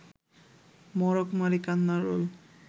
মড়ক-মারি কান্নার রোল